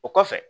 O kɔfɛ